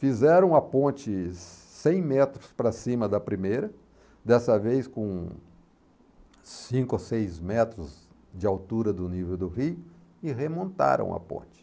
Fizeram a ponte cem metros para cima da primeira, dessa vez com cinco ou seis metros de altura do nível do rio, e remontaram a ponte.